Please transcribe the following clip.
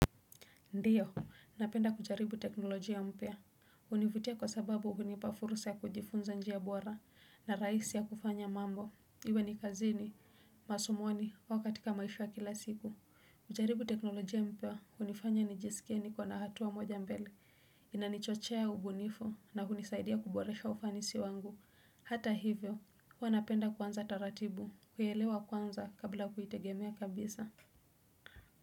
Ndio, napenda kujaribu teknolojia mpya. Hunivutia kwa sababu hunipa fursa ya kujifunza njia bora na rahisi ya kufanya mambo. Iwe ni kazini, masomoni au katika maisha ya kila siku. Kujaribu teknolojia mpya hunifanya nijisikie niko na hatua moja mbele. Inanichochea ubunifu na hunisaidia kuboresha ufanisi wangu. Hata hivyo, huwa napenda kwanza taratibu, kuelewa kwanza kabla kuitegemea kabisa.